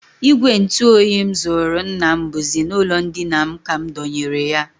Ìgwè ntụoyi m zụụrụ nna m bụzi n'ụlọndina m ka m dọnyere ya